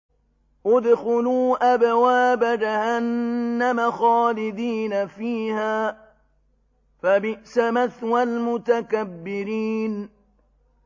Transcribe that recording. ادْخُلُوا أَبْوَابَ جَهَنَّمَ خَالِدِينَ فِيهَا ۖ فَبِئْسَ مَثْوَى الْمُتَكَبِّرِينَ